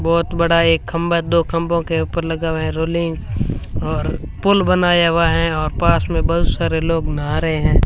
बहोत बड़ा एक खंभा दो खंभों के ऊपर लगा हुआ है रोलिंग और पुल बनाया हुआ है और पास में बहुत सारे लोग नहा रहे हैं।